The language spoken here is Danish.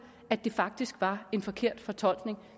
at det faktisk var en forkert fortolkning